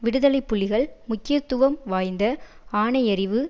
விடுதலை புலிகள் முக்கியத்துவம் வாய்ந்த ஆணையிறவு